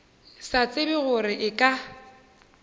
sa tsebe gore e ka